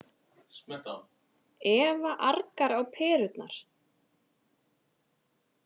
Eva argar á perurnar.